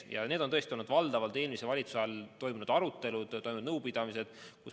Ja need on tõesti olnud valdavalt eelmise valitsuse aja toimunud arutelud ja nõupidamised.